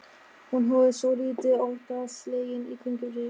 Hún horfði svolítið óttaslegin í kringum sig.